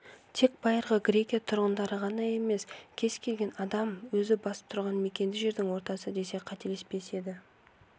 тек байырғы грекия тұрғындары ғана емес кез келген адам өзі басып тұрған мекенді жердің ортасы десе қателеспес еді